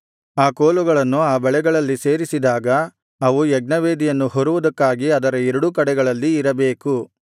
ಆ ಕೋಲುಗಳನ್ನು ಆ ಬಳೆಗಳಲ್ಲಿ ಸೇರಿಸಿದಾಗ ಅವು ಯಜ್ಞವೇದಿಯನ್ನು ಹೊರುವುದಕ್ಕಾಗಿ ಅದರ ಎರಡೂ ಕಡೆಗಳಲ್ಲಿ ಇರಬೇಕು